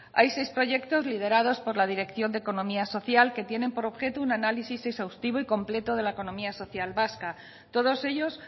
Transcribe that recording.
hay seis proyectos liderados por la dirección de economía social que tienen por objeto un análisis exhaustivo y completo de la economía social vasca todos ellos